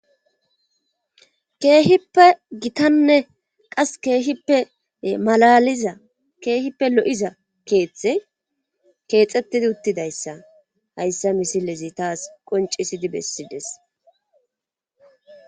Keehippe gitanne qas keehippe malaaliza keehippe lo7iza keethey keexettidi uttidayssa hayssa misilezi tas qonccissidi bessides.